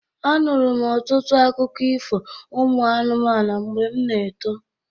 Anụrụ m ọtụtụ akụkụ ifo ụmụ anụmanụ mgbe m n'eto.